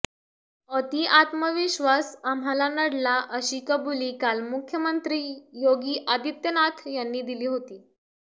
अति आत्मविश्वास आम्हाला नडला अशी कबुली काल मुख्यमंत्री योगी आदित्यनाथ यांनी दिली होती